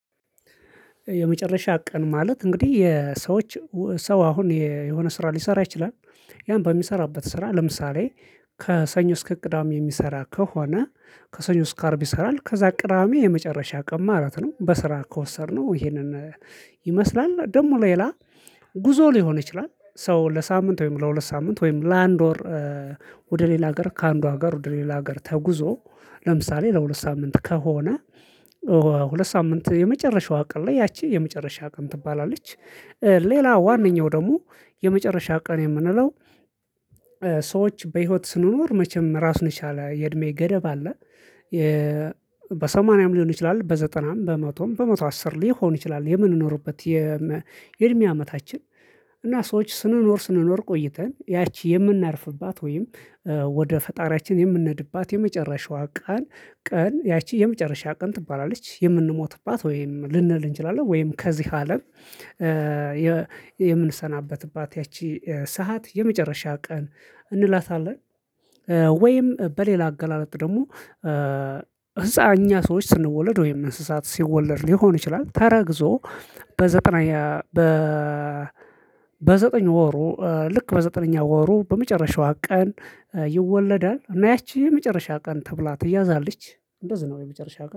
የመጨረሻ ቀን ማለት እንግዲህ እ የሰዎች ሰው አሁን የ የሆነ ስራ ሊሰራ ይችላል። ያን በሚሰራበት ስራ ለምሳሌ ከሰኞ እስከ ቅዳሜ የሚሰራ ከሆነ ከሰኞ እስከ አርብ ይሰራል ከዛ ቅዳሜ የመጨረሻ ቀን ማለት ነው በስራ ከወሰድነው ይሄንን ይመስላል ደግሞ ሌላ ጉዞ ሊሆን ይችላል። ሰው ለሳምንት ወይም ለሁለት ሳምንት ወይም ለአንድ ወር እ ወደ ሌላ ሀገር ከአንዱ ሀገር ወደ ሌላ ሀገር ተጉዞ ለምሳሌ ለሁለት ሳምንት ከሆነ እ ሁለት ሳምንት የመጨረሻው ቀን ላይ ያቺ የመጨረሻ ቀን ትባላለች። እ ሌላ ዋነኛው ደግሞ የመጨረሻ ቀን የምንለው እ በህይወት ስንኖር መቼም ራሱን የቻለ የእድሜ ገደብ አለ። የእ በሰማንያም ሊሆን ይችላል በዘጠናም በመቶም በመቶ አስር ሊሆን ይችላል። የምንኖርበት የመ የእድሜ አመታችን እና ሰዎች ስንኖር ስንኖር ቆይተን ያቺ የምናርፍባት ወይም እ ወደ ፈጣሪያችን የምንነድባት የመጨረሻዋ ቃል ቀን ያቺ የመጨረሻ ቀን ትባላለች። የምንሞትባት ወይም ልንል እንችላለን ወይም ከዚህ አለም አ የምንሰናበትባት ያቺ እ ሰዓት የመጨረሻ ቀን እንላታለን። እ ወይም በሌላ አገላለጥ ደግሞ እ ብፃ እኛ ሰዎች ስንወለድ ወይም እንስሳት ሲወለድ ሊሆን ይችላል። ተረግዞ በዘጠና የ በ በዘጠኝ ወሩ ልክ በዘጠነኛ ወሩ በመጨረሻዋ ቀን እ ይወለዳል እና ያቺ የመጨረሻ ቀን ተብላ ትያዛለች እንደዚህ ነው። የመጨረሻ ቀን